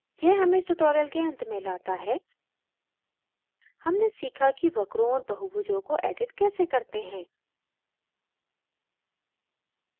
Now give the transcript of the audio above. यह हमें इस tutorial के अंत में लाता है हमने सीखा कि वक्रों और बहुभुजों को edit कैसे करते हैं